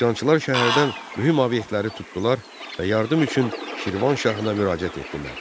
Üsyançılar şəhərdən mühüm obyektləri tutdular və yardım üçün Şirvanşahına müraciət etdilər.